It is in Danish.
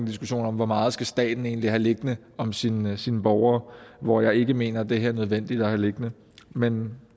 diskussion om hvor meget staten egentlig skal have liggende om sine sine borgere hvor jeg ikke mener det her er nødvendigt at have liggende men